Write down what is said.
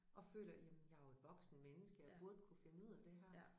Og føler jamen jeg jo et voksent menneske jeg burde kunne finde ud af det her